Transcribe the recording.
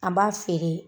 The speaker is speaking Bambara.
An b'a feere